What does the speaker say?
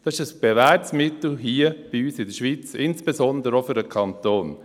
Dies ist ein bewährtes Mittel hier bei uns in der Schweiz, insbesondere auch für den Kanton.